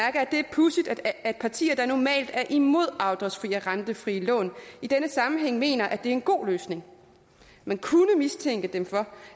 pudsigt at partier der normalt er imod afdragsfrie og rentefri lån i denne sammenhæng mener at det er en god løsning man kunne mistænke dem for